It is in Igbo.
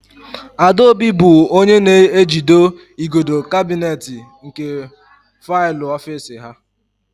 Adaobi bụ onye na-ejido igodo kabinet nke faịlụ ofiisi ha.